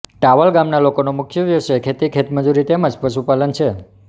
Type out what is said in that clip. towel ગામના લોકોના મુખ્ય વ્યવસાય ખેતી ખેતમજૂરી તેમ જ પશુપાલન છે